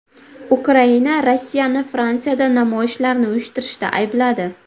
Ukraina Rossiyani Fransiyada namoyishlarni uyushtirishda aybladi.